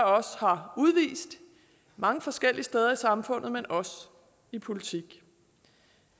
os har udvist mange forskellige steder i samfundet også i politik